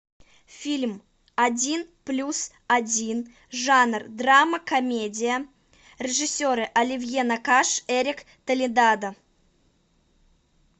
фильм один плюс один жанр драма комедия режиссеры оливье накаш эрик толедано